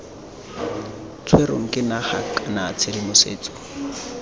tshwerweng ke naga kana tshedimosetso